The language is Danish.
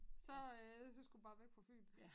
Så øh så skulle bare væk fra Fyn